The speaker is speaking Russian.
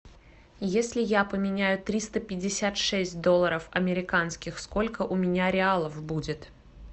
если я поменяю триста пятьдесят шесть долларов американских сколько у меня реалов будет